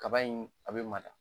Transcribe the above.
Kaba in a be mada